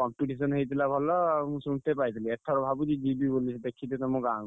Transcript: competition ହେଇଥିଲା ଭଲ ମୁଁ ଶୁଣିତେ ପାଇଥିଲି। ଏଥର ଭାବୁଚି ଯିବି ବୋଲି ଦେଖିତେ ତମ ଗାଁକୁ।